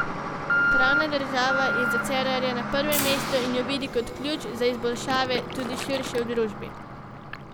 Pravna država je za Cerarja na prvem mestu in jo vidi kot ključ za izboljšave tudi širše v družbi.